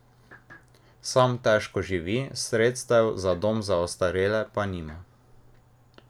Sam težko živi, sredstev za dom za ostarele pa nima.